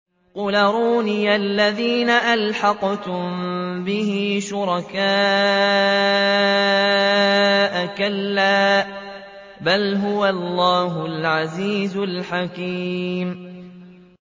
قُلْ أَرُونِيَ الَّذِينَ أَلْحَقْتُم بِهِ شُرَكَاءَ ۖ كَلَّا ۚ بَلْ هُوَ اللَّهُ الْعَزِيزُ الْحَكِيمُ